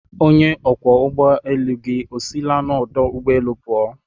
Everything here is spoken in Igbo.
Onye ọkwọ ụgbọ elu gị esila n'ọdụ ụgbọ elu pụọ